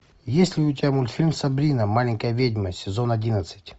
есть ли у тебя мультфильм сабрина маленькая ведьма сезон одиннадцать